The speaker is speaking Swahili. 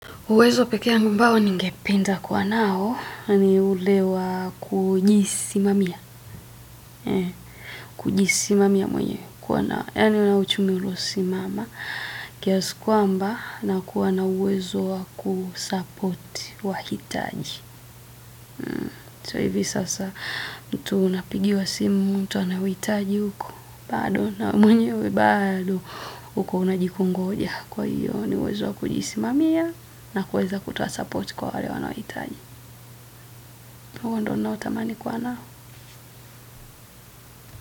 Uwezo pekee ambao ningependa kuwa nao, ni ule wa kujisimamia. Kujisimamia mwenyewe, kuwa na, yaani unao uchumi ulio simama. Kiasi kwamba, nakuwa na uwezo wa kusupport wahitaji. So hivi sasa, mtu unapigiwa simu, mtu anauhitaji huko. Bado na mwenyewe, bado huko unajikongoja kwa hiyo. Ni uwezo wa kujisimamia na kuweza kutoa support kwa wale wanaohitaji. Huo ndo ninao tamani kuwa nao.